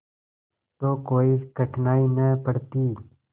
तो कोई कठिनाई न पड़ती